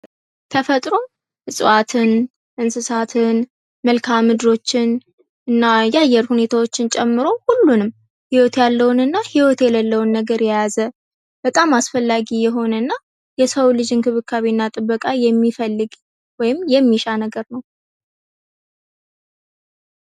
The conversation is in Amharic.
ተፈጥሮ እጽዋትን፣ እንስሳትን፣ መልክዓ ምድሮችን እና የአየር ሁኔታዎችን ጨምሮ ሁሉንም ሂወት ያለውንና ህይወት የሌለውን ነገር የያዘ በጣም አስፈላጊ የሆነ እና የሰውን ልጅ እንክብካቤና ጥበቃ የሚፈልግ ወይም የሚሻ ነገር ነው።